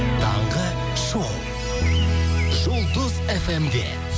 таңғы шоу жұлдыз фм де